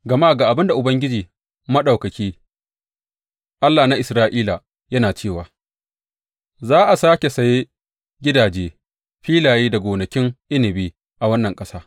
Gama ga abin da Ubangiji Maɗaukaki, Allah na Isra’ila, yana cewa za a sāke saye gidaje, filaye da gonakin inabi a wannan ƙasa.’